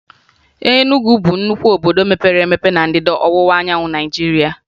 Enugwu bụ nnukwu obodo mepere emepe na Ndịda Ọwụwaanyanwụ Naịjirịa